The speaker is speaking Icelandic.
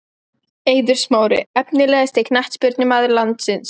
Eiður smári Efnilegasti knattspyrnumaður landsins?